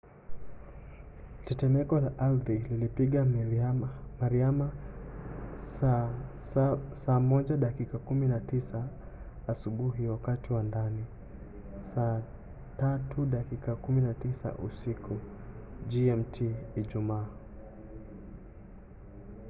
tetemeko la ardhi lilipiga mariana saa 7 dakika 19 asubuhi wakati wa ndani saa 9 dakika 19 usiku gmt ijumaa